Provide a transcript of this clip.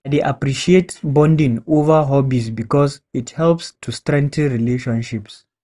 I dey appreciate bonding over hobbies because it helps to strengthen relationships.